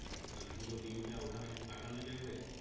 আর পুরো দিনটা ওখানে কাটানো যাবে